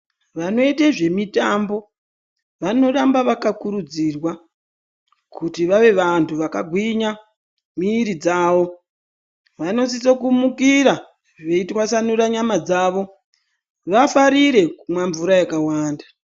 Vanoite zvemitambo vanoramba vakakurudzirwa kuti vave vantu vakagwinya miiri dzavo. Vanosiso kumukira veitwasanura yama dzavo. Vafarire kumwa mvura yakawanda.